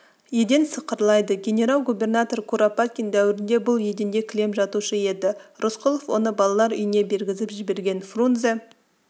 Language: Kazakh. еден сықырлайды генерал-губернатор куропаткин дәуірінде бұл еденде кілем жатушы еді рысқұлов оны балалар үйіне бергізіп жіберген фрунзе